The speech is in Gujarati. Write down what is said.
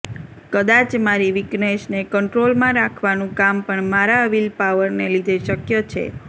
કદાચ મારી વીકનેસને કન્ટ્રોલમાં રાખવાનું કામ પણ મારા વિલપાવરને લીધે શક્ય છે